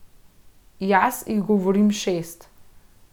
Jaz jih govorim šest.